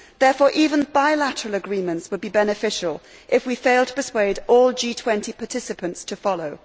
Therefore, even bilateral agreements would be beneficial if we fail to persuade all G20 participants to follow.